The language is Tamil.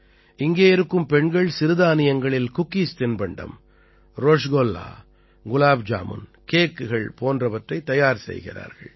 இங்கே இருக்கும் பெண்கள் சிறுதானியங்களில் குக்கீஸ் தின்பண்டம் ரஸ்குல்லா குலாப் ஜாமுன் கேக்குகள் போன்றவற்றைத் தயார் செய்கிறார்கள்